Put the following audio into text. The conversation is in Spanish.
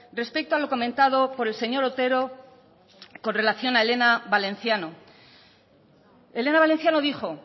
respecto a lo comentado por el señor otero con relación a elena valenciano elena valenciano dijo